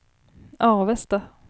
Avesta